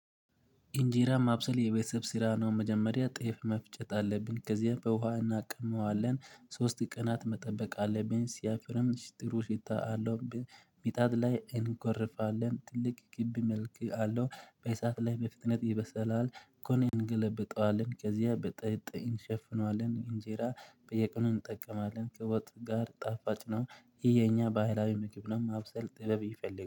እንጀራ ማብሰል የቤተሰብ ስራ ነው መጀመሪያ ጤፍ መፍጨት አለብን ከዚያም በውሃ እናቅመዋለን ሶስት ቀናት መጠበቅ አለብን ሲያፍርም ጥሩ ሽታ አለው። ምጣድ ላይ እንኮርፋለን ትልቅ ግቢ መልክ አለው በአሳት ላይ በፍጥነት ይበሰላል። ኮኔን እንገለብጠዋለን ከዚያ በጠጥ አንሸፍነዋለን እንጄራ በየቀኑ እንጠቀማለን ከወጥ ጋር ጣፋጭ ነው። ይሄ የኛ በሃይላዊ ምግብ ነው። ማብሰል ጥበብ ይፈልግ